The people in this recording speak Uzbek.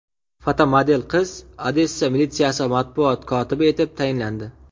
Fotomodel qiz Odessa militsiyasi matbuot kotibi etib tayinlandi.